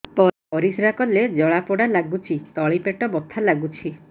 ପରିଶ୍ରା କଲେ ଜଳା ପୋଡା ଲାଗୁଚି ତଳି ପେଟ ବଥା ଲାଗୁଛି